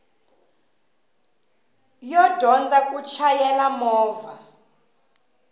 yo dyondza ku chayela movha